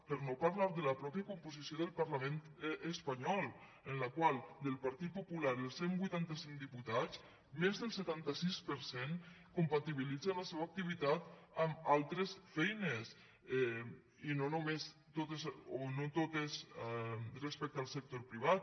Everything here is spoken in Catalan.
per no parlar de la mateixa composició del parlament espanyol en la qual del partit popular dels cent i vuitanta cinc diputats més del setanta sis per cent compatibilitzen la seva activitat amb altres feines i no totes respecte al sector privat